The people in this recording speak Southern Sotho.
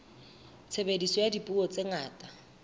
tshebediso ya dipuo tse ngata